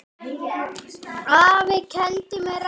Afi kenndi mér reglu.